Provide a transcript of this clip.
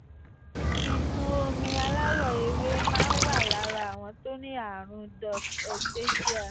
ìsun omi aláwọ̀ ewé máa ń wà lára àwọn tó ní àrùn cs] duct ectasia